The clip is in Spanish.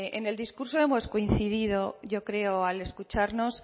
en el discurso hemos coincidido yo creo al escucharnos